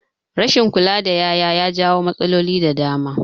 Rashin kula da ƴaƴa ya jawo matsaloli da dama